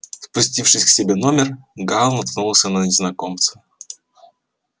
спустившись к себе в номер гаал наткнулся на незнакомца